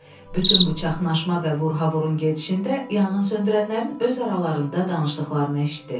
Bütün bu çaşqınma və vurhavurun gedişində yanğınsöndürənlərin öz aralarında danışdıqlarını eşitdi.